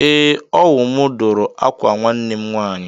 Ee, ọ wụ mụ dụrụ ákwà nwanne m nwaanyị.